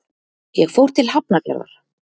Ég fór til Hafnarfjarðar.